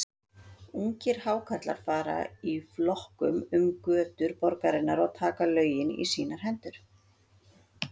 Ungir Hákarlar fara í flokkum um götur borgarinnar og taka lögin í sínar hendur.